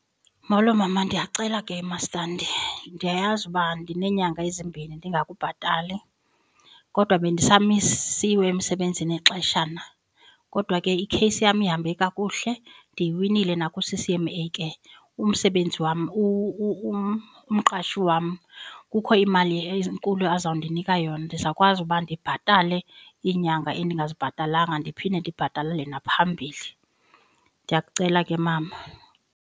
Molo mama, ndiyacela ke mastandi ndiyayazi uba ndineenyanga ezimbini ndingakubhatali, kodwa bendisamisiwe emsebenzini ixeshana. Kodwa ke ikheyisi yam ihambe kakuhle ndiyiwinile naku-C_C_M_A ke. Umsebenzi wam umqashi wam kukho imali enkulu azawundinika yona, ndizawukwazi uba ndibhatale iinyanga endingazibhatalanga, ndiphinde ndibhatalele naphambili. Ndiyakucela ke mama.